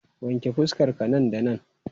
Wanke fuskar ka nan da nan!